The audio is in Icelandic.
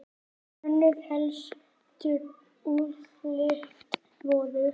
Önnur helstu úrslit voru